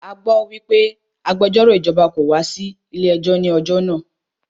A gbọ́ wípé àwọn agbẹjọ́rò ìjọba kò wá sí ilé ẹjọ́ ní ọjọ́ náà.